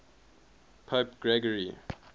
pope gregory